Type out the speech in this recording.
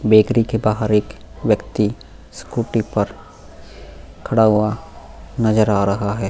Bakery के बाहर एक व्यक्ति स्कूटी पर खड़ा हुआ नजर आ रहा है।